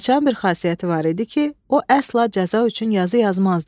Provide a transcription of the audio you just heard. Padşahın bir xasiyyəti var idi ki, o əsla cəza üçün yazı yazmazdı.